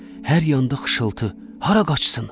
Hər yanda xışıltı, hara qaçsın?